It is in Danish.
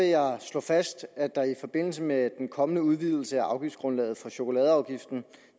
jeg slå fast at der i forbindelse med den kommende udvidelse af afgiftsgrundlaget for chokoladeafgiften